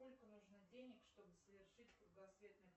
сколько нужно денег чтобы совершить кругосветное